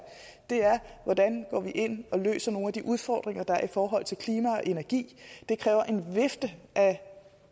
det er hvordan vi går ind og løser nogle af de udfordringer der er i forhold til klima og energi det kræver en vifte af